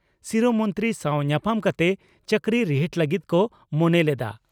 ᱥᱤᱨᱟᱹ ᱢᱚᱱᱛᱨᱤ ᱥᱟᱣ ᱧᱟᱯᱟᱢ ᱠᱟᱛᱮ ᱪᱟᱹᱠᱨᱤ ᱨᱤᱦᱤᱴ ᱞᱟᱹᱜᱤᱫ ᱠᱚ ᱢᱚᱱᱮ ᱞᱮᱫᱼᱟ ᱾